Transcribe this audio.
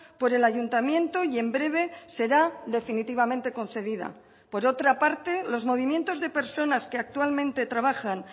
por el ayuntamiento y en breve será definitivamente concedida por otra parte los movimientos de personas que actualmente trabajan